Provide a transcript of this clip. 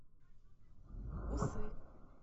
усы